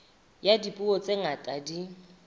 ya dipuo tse ngata di